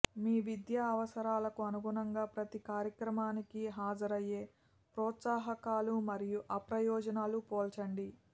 మీ విద్యా అవసరాలకు అనుగుణంగా ప్రతి కార్యక్రమానికి హాజరయ్యే ప్రోత్సాహకాలు మరియు అప్రయోజనాలు పోల్చండి